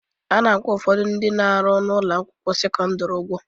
A na-akwụ ụfọdụ ndị na-arụ n'ụlọ akwụkwọ sekọndịrị ụgwọ